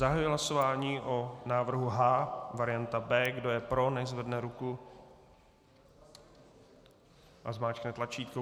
Zahajuji hlasování o návrhu H varianta B. Kdo je pro, nechť zvedne ruku a zmáčkne tlačítko.